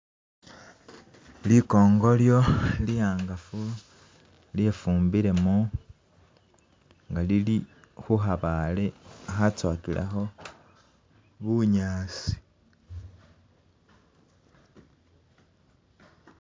Likongolyo liyanganfu lye'fumbilemo nga Lili huhabaale hatswowakileho bunyaasi.